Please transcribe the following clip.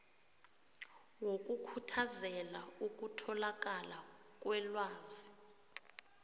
wokukhuthazela ukutholakala kwelwazi